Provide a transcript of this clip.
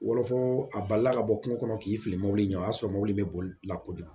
Wɔlɔfɔ a balila ka bɔ kungo kɔnɔ k'i fili mɔbili ɲɛ o y'a sɔrɔ mɔbili bɛ bolila kojugu